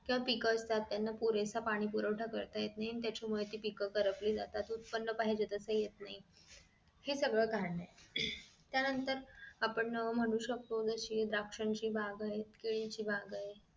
किंवा पीक असतात त्यांना पुरेसा पाणी पुरवठा करता येत नाही आणि त्याच्या मुळे ती पीक करपली जातात. उत्पन्न पाहिजे तस येत नाही हे सगळं कारण आहे त्या नंतर आपण म्हणू शकतो तशी द्राक्षची बागायत आणि केळीची बागायत